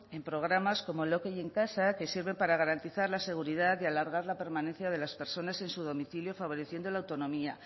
en programas como en casa que sirve para garantizar la seguridad y alargar la permanencia de las personas en su domicilio favoreciendo la